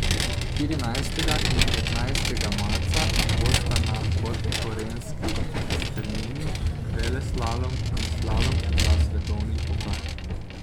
Štirinajstega in petnajstega marca bosta na podkorenski strmini veleslalom in slalom za svetovni pokal.